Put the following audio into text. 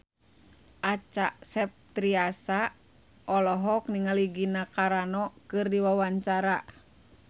Acha Septriasa olohok ningali Gina Carano keur diwawancara